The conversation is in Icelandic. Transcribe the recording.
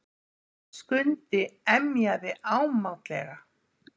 Skundi emjaði ámátlega.